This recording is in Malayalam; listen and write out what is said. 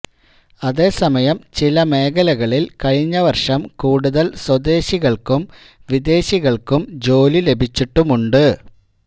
അതേസമയം ചില മേഖലകളില് കഴിഞ്ഞ വര്ഷം കൂടുതല് സ്വദേശികള്ക്കും വിദേശികള്ക്കും ജോലി ലഭിച്ചിട്ടുമുണ്ട്